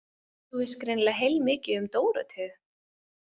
Þú veist greinilega heilmikið um Dóróteu.